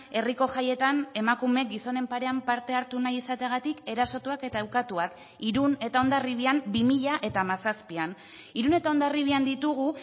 herriko jaietan emakume gizonen parean parte hartu nahi izateagatik erasotuak eta ukatuak irun eta hondarribian bi mila hamazazpian irun eta hondarribian ditugu